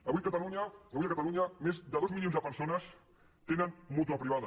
avui a catalunya avui a catalunya més de dos milions de persones tenen mútua privada